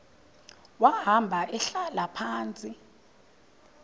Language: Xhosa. wahamba ehlala phantsi